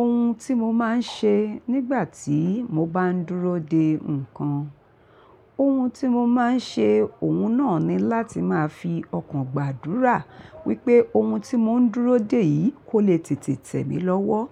Ohun tí mo máa ń ṣe nígbà tí mo bá ń dúró dè nǹkan, ohun tí mo máa ń ṣe, òun náà ni láti máa fi ọkàn gbàdúrà wípé ohun tí mò ń dúró dè yìí kò le tètè tẹ̀ mí lọ́wọ́.